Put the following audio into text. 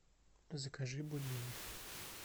закажи бульмени